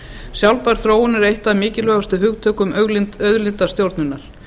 sjálfbær þróun er eitt af mikilvægustu hugtökum auðlindastjórnunar